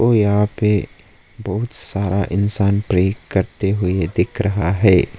यहाँ पे बहुत सारा इंसान प्रे करते हुए दिख रहा है।